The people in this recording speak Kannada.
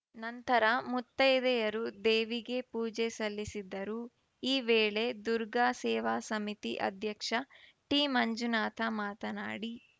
ನಂತರ ಮುತ್ತೈದೆಯರು ದೇವಿಗೆ ಪೂಜೆ ಸಲ್ಲಿಸಿದರು ಈ ವೇಳೆ ದುರ್ಗಾ ಸೇವಾ ಸಮಿತಿ ಅಧ್ಯಕ್ಷ ಟಿಮಂಜುನಾಥ ಮಾತನಾಡಿ